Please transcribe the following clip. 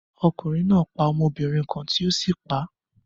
Ọkunrin naa pa ọmọbirin kan ti o si pa a